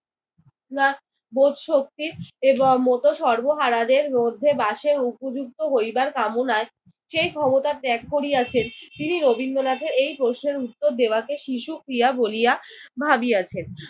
না বোধ শক্তি এইবার মতো সর্বহারাদের মধ্যে বাসের উপযুক্ত হইবার কামনায় সেই ক্ষমতা ত্যাগ করিয়াছেন। তিনি রবীন্দ্রনাথের এই প্রশ্নের উত্তর দেওয়াকে শিশুক্রিয়া বলিয়া ভাবিয়াছেন।